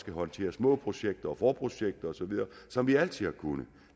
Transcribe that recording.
håndtere små projekter og forprojekter osv som vi altid har kunnet